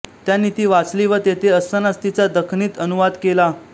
त्यांनी ती वाचली व तेथे असतानाच तिचा दखनीत अनुवाद केला